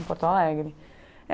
Em Porto Alegre.